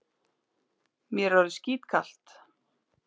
Mér er orðið skítkalt.